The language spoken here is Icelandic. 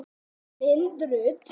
Mynd Rut.